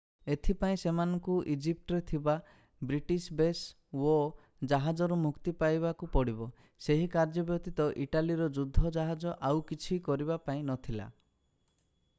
ଏଥିପାଇଁ ସେମାନଙ୍କୁ ଇଜିପ୍ଟରେ ଥିବା ବ୍ରିଟିଶ ବେସ୍ ଓ ଜାହାଜରୁ ମୁକ୍ତି ପାଇବାକୁ ପଡ଼ିବ ସେହି କାର୍ଯ୍ୟ ବ୍ୟତୀତ ଇଟାଲୀର ଯୁଦ୍ଧ ଜାହାଜ ଆଉ କିଛି କରିବା ପାଇଁ ନଥିଲା